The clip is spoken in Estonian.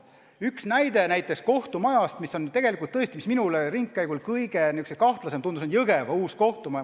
Üks näide kohtumajast, mis minule ringkäigul kõige kahtlasem tundus, on Jõgeva uus kohtumaja.